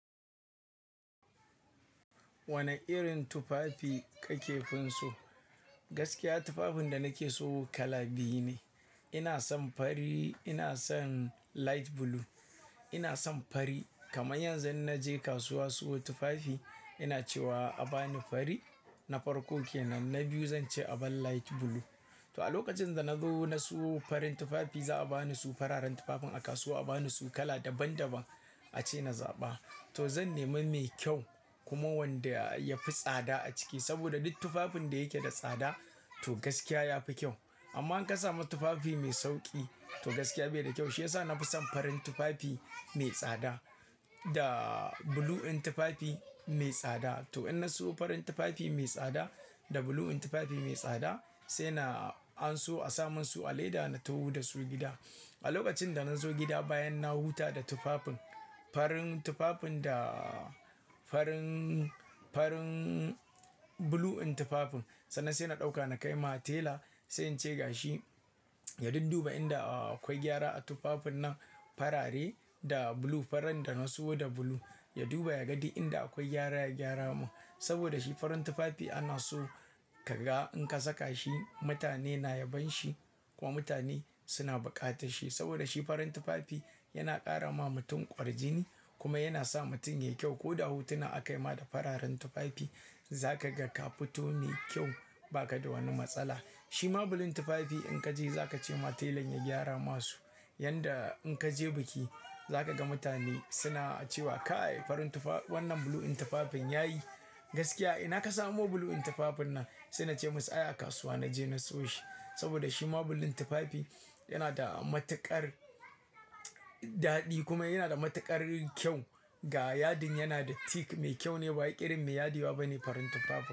Wane irin tufafi ka kefinso? Gaskiya tufafin da nake so kala biyu ne. Ina son fari, ina son light blue. Ina son fari. Kamar yanzu in naje kasuwa siyo tufafi ina cewa a bani fari na farko ke nan. Na biyu zan ce aban light blue. To a lokacin da na zo na siyo farin tufafi za a bani su fararen tufafin a kasuwa, a bani su kala daban daban a ce na zaɓa. Na biyu zan ce aban light blue. Saboda duk tufafin da yake da tsada to gaskiya ya fi kyau. Amma in ka samu tufafi mai sauƙi to gaskiya bai da kyau. Shiyasa na fi son farin tufafi mai tsada da blue in tufafi mai tsada. To in na siyo farin tufafi mai tsada da blue in tufafi mai tsada, sai na anso a samun su a leda na taho da su gida. A lokacin da na zo gida bayan na huta da tufafin, farin tufafin da farin, farin blue in tufafin sannan sai na ɗauka na kai ma tela sai in ce ga shi ya dudduba inda akwai gyara a tufafin nan farare da blue. Farin da na siyo da blue. Ya duba ya ga inda akwai gyara, ya gyara mun. Saboda shi farin tufafi ana so ka ga in ka saka shi. Mutane na yabon shi kuma mutane suna buƙatar shi. Saboda shi farin tufafi yana ƙara ma mutum ƙwarjini kuma yana sa mutum yayi kyau. Ko da hutuna aka yi ma da fararen tufafi za ka ga ka fito ne kyau ba ka da wani matsala. Shi ma blue in tufafi in ka je za ka ce ma telan ya gyara masu. Yanda in ka je biki za ka ga mutane suna cewa "ka ai farin tufaf, wannan blue in tufafin ya yi." Gaskiya ina ka samu blue in tufafin nan? Sai na ce musa "aya a kasuwa na je na siyo shi." Saboda shi ma blue in tufafi yana da matuƙar daɗi kuma yana da matuƙar kyau. Ga yadin yana da tik mai kyau ne ba ƙirin mai yadiwa bane farin tufafin.